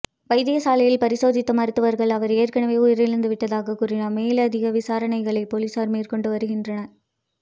வைத்தியசாலையில் பரிசோதித்த மருத்துவர்கள் அவர் ஏற்கனவே உயிரிழந்து விட்டதாக கூறினார் மேலதிக விசாரணைகளை பொலிஸார் மேற்கொண்டு வருகின்றனர்